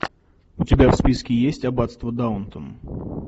у тебя в списке есть аббатство даунтон